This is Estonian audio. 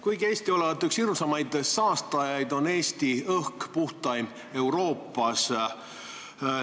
Kuigi Eesti olevat üks hirmsamaid saastajaid, on Eesti õhk puhtaim Euroopas.